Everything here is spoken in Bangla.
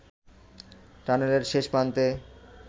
টানেলের শেষ প্রান্তে